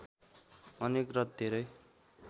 अनेक र धेरै